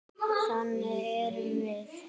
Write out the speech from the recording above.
Þannig erum við.